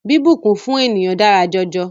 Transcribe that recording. Bíbùnkún fún ènìyàn dára jọjọ.